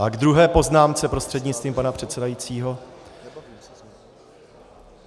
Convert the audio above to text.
A k druhé poznámce, prostřednictvím pana předsedajícího.